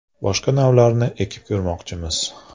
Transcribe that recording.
Boshqa navlarni ekib ko‘rmoqchimiz.